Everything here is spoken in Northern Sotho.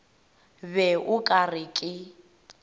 be o ka re ke